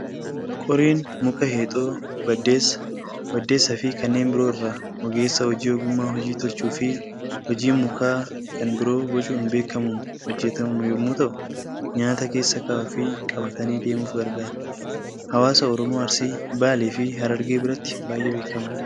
Qoriin muka Heexoo, baddeessa, waddeessa fi kanneen biroo irraa ogeessa hojii ogummaa hojii tolchuu fi hojii mukaa kan biroo bocuun beekkamuun hojjatamu yommuu ta'u, Nyaata keessa kaa'uu fii qabatanii deemuuf gargaara. Hawaasa Oromoo Arsii, Baalee fi Harargee biratti baay'ee beekamaadha.